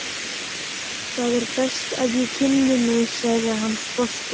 Það er best að ég kynni mig, sagði hann sposkur.